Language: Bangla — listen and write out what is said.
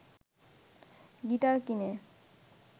গিটার কিনে